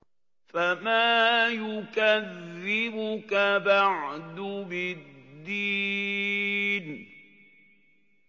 فَمَا يُكَذِّبُكَ بَعْدُ بِالدِّينِ